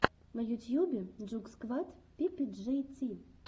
на ютьюбе джугсквад пи пи джей ти